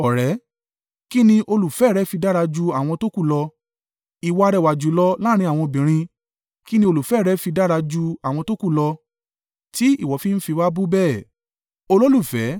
Kí ni olùfẹ́ rẹ fi dára ju àwọn tókù lọ, ìwọ arẹwà jùlọ láàrín àwọn obìnrin? Kí ni olùfẹ́ rẹ fi dára ju àwọn tókù lọ tí ìwọ fi ń fi wá bú bẹ́ẹ̀?